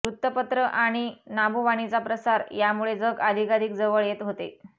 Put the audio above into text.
वृत्तपत्र आणि नभोवाणीचा प्रसार यामुळे जग अधिकाधिक जवळ येत होते